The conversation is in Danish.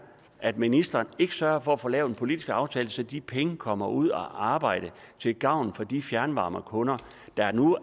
at ministeren ikke sørger for at få lavet en politisk aftale så de penge kommer ud at arbejde til gavn for de fjernvarmekunder der nu